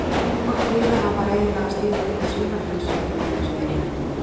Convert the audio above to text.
Hvort liðanna var eiginlega að stíga upp úr svínaflensu, ef ég mætti spyrja?